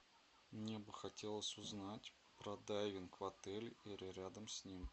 мне бы хотелось узнать про дайвинг в отеле или рядом с ним